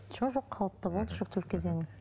жоқ жоқ қалыпты болды жүктілік кезеңі